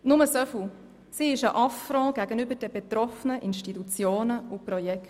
Nur so viel: Diese ist ein Affront gegenüber den betroffenen Institutionen und Projekten.